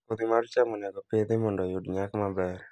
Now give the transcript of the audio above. Kodhi mar cham dwarore ni oPidho mondo oyud nyak maber